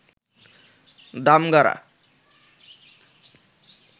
Damgara